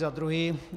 Za druhé.